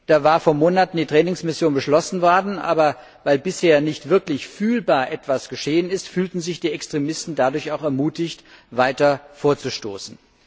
Da ist vor Monaten die Trainingsmission beschlossen worden, aber weil bisher nicht wirklich fühlbar etwas geschehen ist, fühlten sich die Extremisten dadurch auch ermutigt, weiter vorzustoßen.